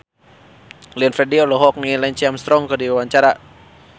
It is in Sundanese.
Glenn Fredly olohok ningali Lance Armstrong keur diwawancara